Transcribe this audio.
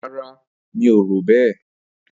Rara, mí ò ró bẹ.